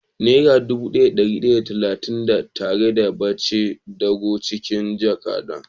Nera dubu daya da dari daya da talatin da tara ya bace dago cikin jaka na.